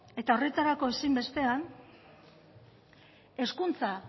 eta horretarako ezinbestean hezkuntza